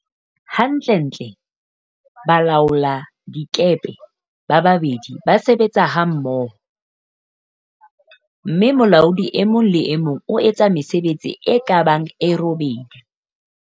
Hantlentle, balaoladikepe ba babedi ba sebetsa hammo ho, mme molaodi e mong le e mong o etsa mesebetsi e ka bang e robedi.